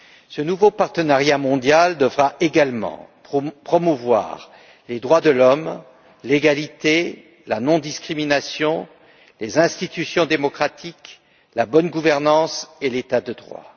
Ce nouveau partenariat mondial devra également promouvoir les droits de l'homme, l'égalité, la non discrimination, les institutions démocratiques, la bonne gouvernance et l'état de droit.